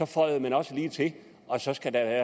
føjede man også lige til at så skal der